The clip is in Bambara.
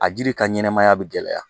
A jiri ka ɲɛnɛmaya bi gɛlɛya